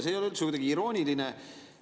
See ei ole üldse kuidagi irooniline.